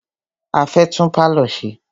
A fẹ́ tún pálọ̀ ṣe.